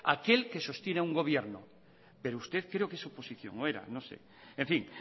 aquel que sostiene a un gobierno pero usted creo que su oposición o era no sé en fin